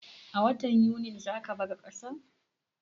A watan Yunin za ka bar kasan?